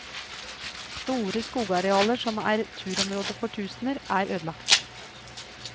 Store skogarealer som er turområder for tusener, er ødelagt.